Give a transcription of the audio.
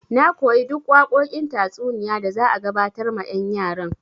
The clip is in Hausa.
Na koyi duk waƙoƙin tatsuniya da za a gabatar ma yan' yaran.